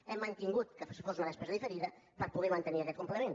hem mantingut que fos una despesa diferida per poder mantenir aquest complement